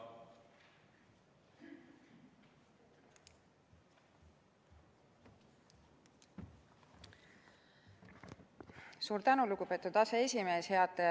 Suur tänu, lugupeetud aseesimees!